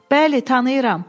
Bəli, tanıyıram.